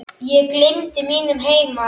Ég gleymdi mínum heima